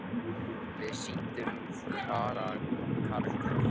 Við sýndum karakter.